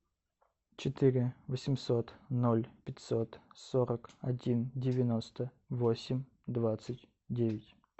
четыре восемьсот ноль пятьсот сорок один девяносто восемь двадцать девять